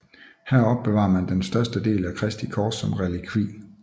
Her opbevarer man den største del af Kristi kors som relikvie